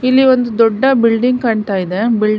ಇಲ್ಲಿ ಒಂದು ದೊಡ್ಡ ಬಿಲ್ಡಿಂಗ್ ಕಾಂತಾ ಇದೆ ಬಿಲ್ಡಿಂಗ್ --